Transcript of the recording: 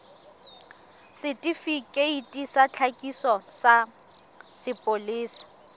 setifikeiti sa tlhakiso sa sepolesa